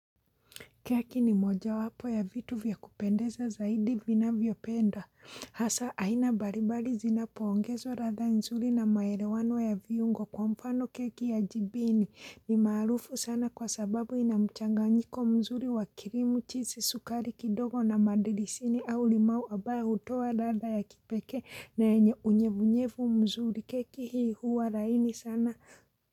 Keki ni moja wapo ya vitu vyakupendeza zaidi vinavyopenda hasa aina mbalimbali zinapoongezo ladha nzuri na maelewano ya viungo kwa mfano keki ya jibini ni marufu sana kwa sababu inamchanganyiko mzuri wa kirimu chizi sukari kidogo na madilisini au limau ambayo hutoa ladha ya kipekee na unyevunyevu mzuri keki hii huwa laini sana.